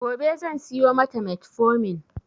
Gobe zan siyo mata metformin.